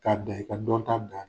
K'a da i ka dɔnta da